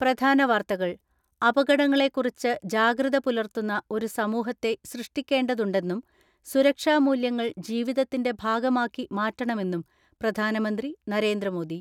പ്രധാന വാർത്തകൾ അപകടങ്ങളെ കുറിച്ച് ജാഗ്രത പുലർത്തുന്ന ഒരു സമൂഹത്തെ സൃഷ്ടിക്കേണ്ടതുണ്ടെന്നും സുരക്ഷാ മൂല്യങ്ങൾ ജീവിതത്തിന്റെ ഭാഗമാക്കി മാറ്റണ മെന്നും പ്രധാനമന്ത്രി നരേന്ദ്രമോദി.